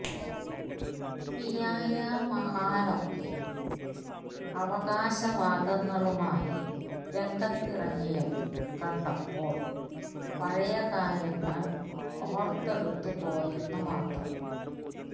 പിയായ മഹാനൊക്കെ അവകാശവാദങ്ങളുമായി രംഗത്തിറങ്ങിയത് കണ്ടപ്പോൾ പഴയ കാര്യങ്ങൾ ഓർത്തെടുത്തു പോയെന്ന് മാത്രം